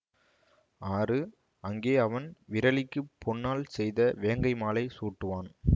ஆறு அங்கே அவன் விறலிக்குப் பொன்னால் செய்த வேங்கைமாலை சூட்டுவான்